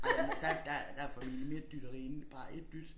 Ja der må der der der formentlig mere dytteri end bare 1 dyt